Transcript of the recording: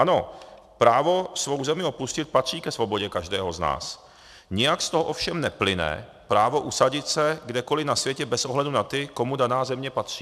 Ano, právo svou zemi opustit patří ke svobodě každého z nás, nijak z toho ovšem neplyne právo usadit se kdekoli na světě bez ohledu na ty, komu daná země patří.